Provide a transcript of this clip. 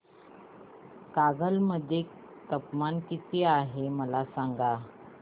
कागल मध्ये तापमान किती आहे मला सांगा